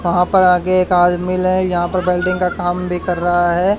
कहां पर आगे एक आदमिल है यहां पर वेल्डिंग का काम भी कर रहा है।